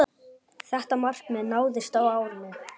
Þetta markmið náðist á árinu.